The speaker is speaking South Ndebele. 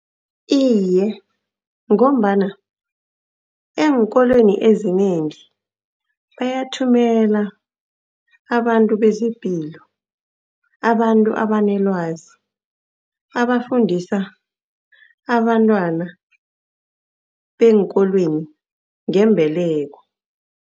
Iye, ngombana eenkolweni ezinengi bayathumela abantu bezepilo, abantu abanelwazi, abafundisa abantwana beenkolweni ngembeleko.